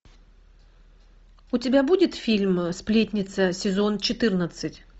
у тебя будет фильм сплетница сезон четырнадцать